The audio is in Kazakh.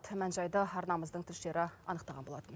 мән жайды арнамыздың тілшілері анықтаған болатын